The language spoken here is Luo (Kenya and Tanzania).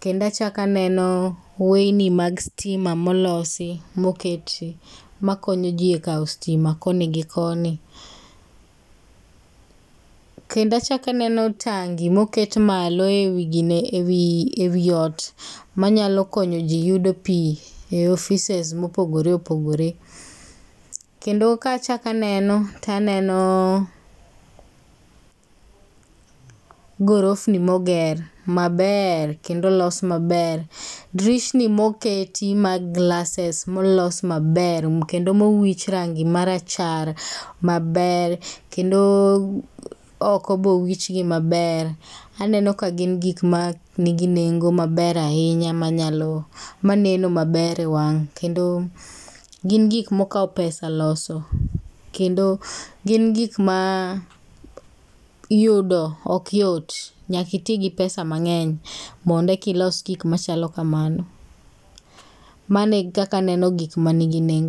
Kendo achak aneno weyni mag stim molosi, moketi, makonyo ji e kawo stima koni gi koni. Kendo achak aneno tangi moket malo e wi gine, e wi, e wi ot manyalo konyo ji yudo pi e offices mopogore opogore. Kendo ka achak aneno to aneno gorofni moger maber, kendo olos maber. Dirisni moketi mag glasses molos maber kendo mowich rangi marachar maber. Kendo oko be owichgi maber. Aneno ka gin gik ma nigi nengo maber ahinya, manyalo, maneno maber e wang', kendo gin gik ma okawo pesa loso. Kendo gin gik ma yudo ok yot nyaka iti gi pesa mang'eny mondo eka ilos gik machalo kamano. Mano e kaka aneno gik manigi nengo.